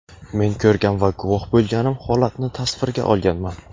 Men ko‘rgan va guvoh bo‘lganim holatni tasvirga olganman.